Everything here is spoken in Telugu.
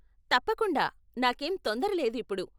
తప్పకుండా, నాకేం తొందర లేదు ఇప్పుడు.